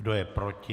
Kdo je proti?